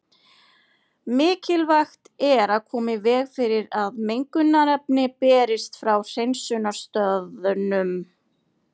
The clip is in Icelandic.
Mikilvægt er að koma í veg fyrir að mengunarefni berist frá hreinsunarstaðnum.